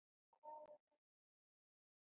Hvað er þetta spurði ég.